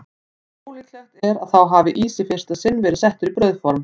En ólíklegt er að þá hafi ís í fyrsta sinn verið settur í brauðform.